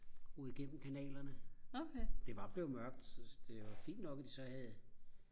roede i gennem kanalerne det var blevet mørkt så det var fint nok at de så havde